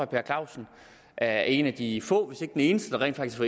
per clausen er en af de få hvis ikke den eneste der rent faktisk